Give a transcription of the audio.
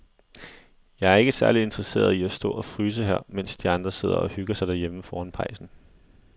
Jeg er ikke særlig interesseret i at stå og fryse her, mens de andre sidder og hygger sig derhjemme foran pejsen.